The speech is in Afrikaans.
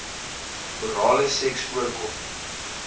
orale seks voorkom